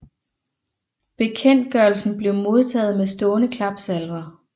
Bekendtgørelsen blev modtaget med stående klapsalver